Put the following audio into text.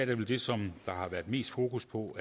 vel det som der har været mest fokus på